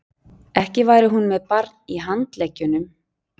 Ekki væri hún með barn í handleggjunum.